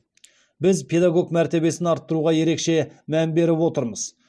біз педагог мәртебесін арттыруға ерекше мән беріп отырмыз